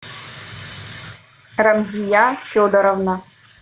рамзия федоровна